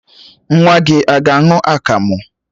Nwa gị a ga-aṅụ akamụ?